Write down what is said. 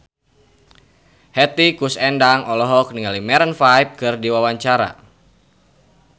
Hetty Koes Endang olohok ningali Maroon 5 keur diwawancara